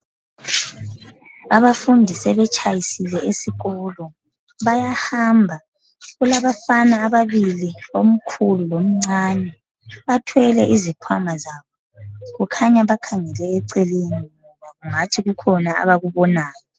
Abafundi sebetshayisile esikolo bayahamba kulabafana ababili omkhulu lomcane bathwele izikhwama zabo kukhanya bakhangele eceleni kungathi kukhona abakubonayo.